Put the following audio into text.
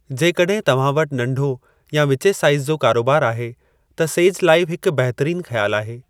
जेकॾहिं तव्हां वटि नंढो या विचें साईज़ जो कारोबार आहे, त सेज लाईव हिकु बहितरीनु ख़्यालु आहे।